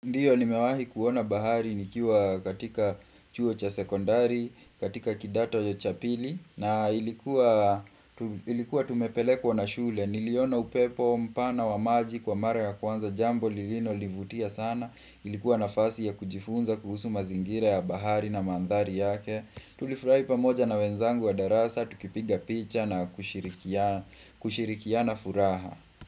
Ndiyo nimewahi kuona bahari nikiwa katika chuo cha sekondari, katika kidato ya cha pili, na ilikuwa tumepelekwa na shule, niliona upepo mpana wa maji kwa mara ya kwanza jambo, lililo nivutia sana, ilikuwa nafasi ya kujifunza kuhusu mazingira ya bahari na mandhari yake. Tulifurai pamoja na wenzangu wa darasa, tukipiga picha na kushirikiana furaha.